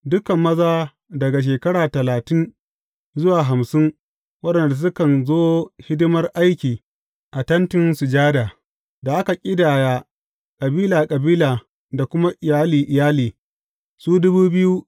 Dukan maza daga shekara talatin zuwa hamsin waɗanda sukan zo hidimar aiki a Tentin Sujada, da aka ƙidaya kabila kabila da kuma iyali iyali, su ne.